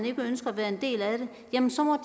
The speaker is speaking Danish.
ikke ønsker at være en del af det jamen så må